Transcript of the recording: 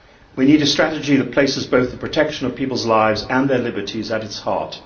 We need a strategy that places both the protection of people's lives and their liberties at its heart.